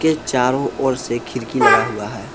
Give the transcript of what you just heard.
ये चारों ओर से खिड़की लगा हुआ है।